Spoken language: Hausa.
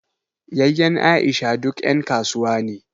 Yayyen Aisha duk ƴan kasuwa ne